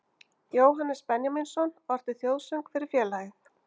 Jóhannes Benjamínsson orti þjóðsöng fyrir félagið